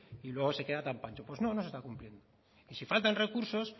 y luego se queda tan pancho pues no no se está cumpliendo y si faltan recursos